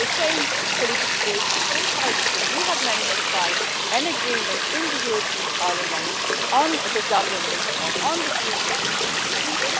We are the same political groups, the same parties, but we have managed to find an agreement in the European Parliament on the Dublin reform and on the future asylum system.